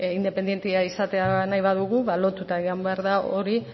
independentea izatea nahi badugu lotuta joan behar da hori